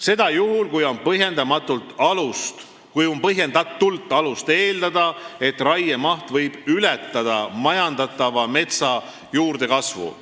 Seda juhul, kui on põhjendatult alust eeldada, et raiemaht võib ületada majandatava metsa juurdekasvu.